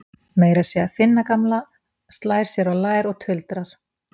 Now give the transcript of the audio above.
Meira að segja Finna gamla slær sér á lær og tuldrar